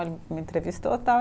Me entrevistou, tal.